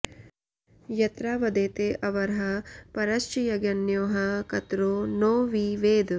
यत्रा वदेते अवरः परश्च यज्ञन्योः कतरो नौ वि वेद